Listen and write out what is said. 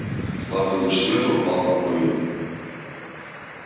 слабый луч света упал на колю